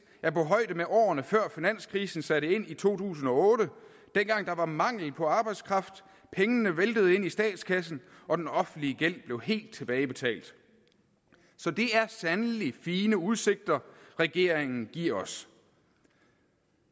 er på højde med årene før finanskrisen satte ind i to tusind og otte dengang der var mangel på arbejdskraft pengene væltede ind i statskassen og den offentlige gæld blev helt tilbagebetalt så det er sandelig fine udsigter regeringen giver os